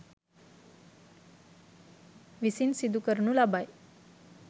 විසින් සිදු කරනු ලබයි.